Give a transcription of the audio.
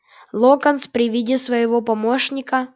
локонс при виде своего помощника